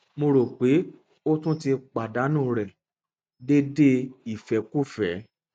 mo ro pe o ti tun ti padanu rẹ deede ifẹkufẹ